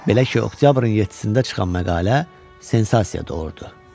Belə ki, oktyabrın 7-də çıxan məqalə sensasiya doğurdu.